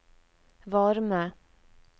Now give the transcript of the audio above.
varme